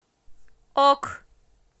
ок